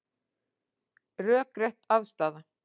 Rökrétt afstaða